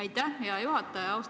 Aitäh, hea juhataja!